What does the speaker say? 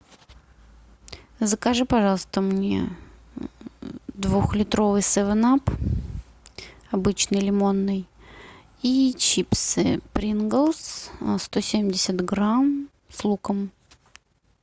закажи пожалуйста мне двухлитровый севен ап обычный лимонный и чипсы принглс сто семьдесят грамм с луком